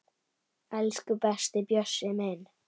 Elsku besti Bjössi minn.